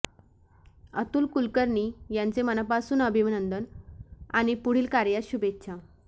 अतूल कुलकर्णी यांचे मनापासून अभिनंदन आणि पुढील कार्यास शुभेच्छा